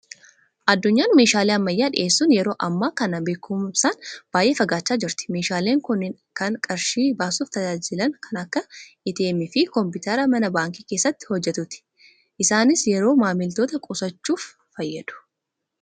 Addunyaan meeshaalee ammayyaa dhiyeessuun yeroo ammaa kana beekumsaan baay'ee fagaachaa jirti. Meeshaaleen kunneen kan qarshii baasuuf tajaajilu kan akka ATM, fi kompiitara mana baankii keessatti hojjetuuti. Isaanis yeroo maamiltoota qusachuuf fayyadu.